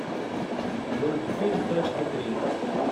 мультфильм тачки три